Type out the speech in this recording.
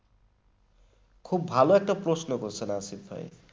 খুব ভালো একটা প্রশ্ন করেছেন আসিফ ভাই